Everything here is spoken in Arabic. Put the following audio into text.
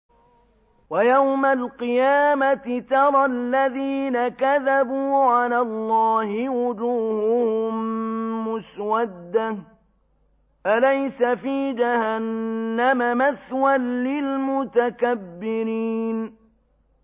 وَيَوْمَ الْقِيَامَةِ تَرَى الَّذِينَ كَذَبُوا عَلَى اللَّهِ وُجُوهُهُم مُّسْوَدَّةٌ ۚ أَلَيْسَ فِي جَهَنَّمَ مَثْوًى لِّلْمُتَكَبِّرِينَ